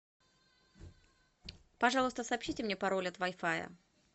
пожалуйста сообщите мне пароль от вай фая